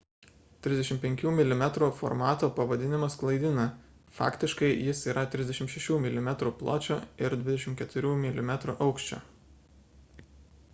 35 mm formato pavadinimas klaidina faktiškai jis yra 36 mm pločio ir 24 mm aukščio